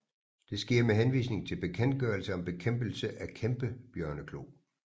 Det sker med henvisning til Bekendtgørelse om bekæmpelse af kæmpebjørneklo